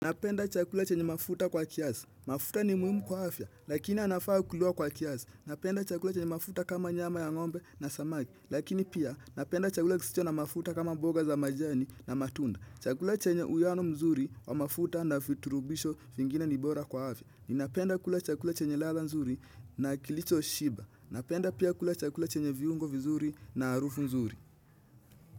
Napenda chakula chenye mafuta kwa kiasi. Mafuta ni muhimu kwa afya, lakini anafaa kuliwa kwa kiasi. Napenda chakula chenye mafuta kama nyama ya ngombe na samaki. Lakini pia napenda chakula kisicho na mafuta kama mboga za majani na matunda. Chakula chenye uiano mzuri wa mafuta na virutubisho vingine ni bora kwa afya. Ninapenda kula chakula chenye ladha mzuri na kilichoshiba. Napenda pia kula chakula chenye viungo vizuri na harufu nzuri.